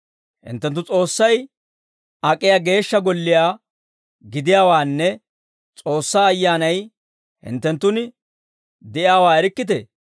Hinttenttu S'oossay ak'iyaa geeshsha golliyaa gidiyaawaanne S'oossaa Ayyaanay hinttenttun de'iyaawaa erikkitee?